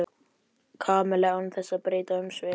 Kamilla án þess að breyta um svip.